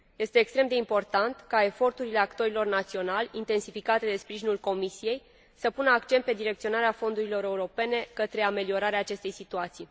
Este extrem de important ca eforturile actorilor naționali, intensificate de sprijinul Comisiei, să pună accent pe direcționarea fondurilor europene către ameliorarea acestei situații.